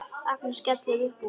Agnes skellir upp úr.